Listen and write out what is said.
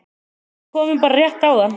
Við komum bara rétt áðan